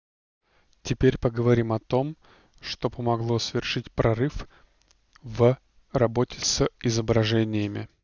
теперь поговорим о том что помогло совершить прорыв в работе с изображениями